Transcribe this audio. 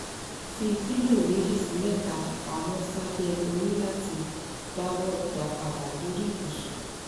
fi pilo meji si meta pamo sabe ori lati dawo idapada lori ibusun